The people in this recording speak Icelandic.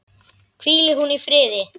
Hvíli hún í friði.